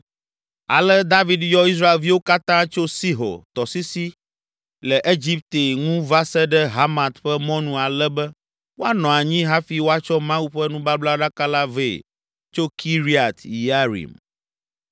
Ale David yɔ Israelviwo katã tso Sihor tɔsisi le Egipte ŋu va se ɖe Hamat ƒe mɔnu ale be woanɔ anyi hafi woatsɔ Mawu ƒe nubablaɖaka la vɛ tso Kiriat Yearim.